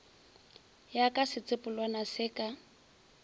ya ka setsopolwana se ka